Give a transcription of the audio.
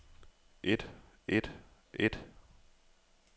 et et et